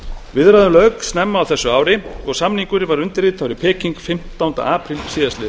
viðræðum lauk snemma á þessu ári og samningurinn var undirritaður í peking fimmtánda apríl síðastliðinn